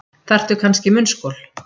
Þarftu kannski munnskol.